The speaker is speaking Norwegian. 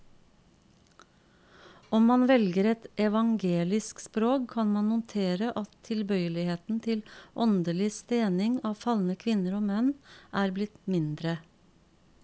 Om man velger et evangelisk språk, kan man notere at tilbøyeligheten til åndelig stening av falne kvinner og menn er blitt mindre.